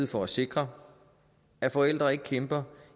for at sikre at forældre ikke kæmper